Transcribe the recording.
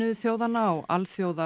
þjóðanna og Alþjóða